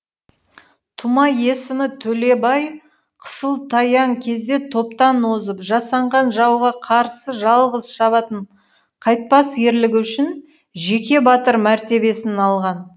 тума есімі төлебай қысылтаяң кезде топтан озып жасанған жауға қарсы жалғыз шабатын қайтпас ерлігі үшін жеке батыр мәртебесін алған